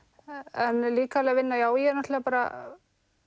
en líkamleg vinna já ég náttúrulega bara